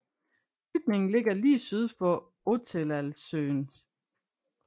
Bygningen ligger lige syd for Ottetalssøen